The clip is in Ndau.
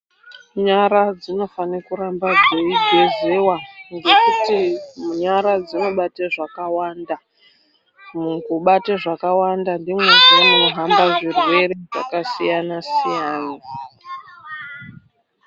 Nyara dzinofane kuramba dzei gezewa ngekuti nyara dzino bate zvaka wanda muku bata zvakawanda ndimo zvee muno hamba zvirwere zvaka siyana siyana.